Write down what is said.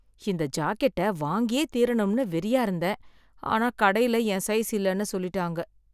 இந்த ஜாக்கெட்ட வாங்கியே தீரணும்னு வெறியா இருந்தேன், ஆனா கடையில என் சைஸ் இல்லனு சொல்லிட்டாங்க.